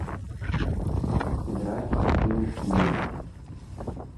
сыграть в скилл тиест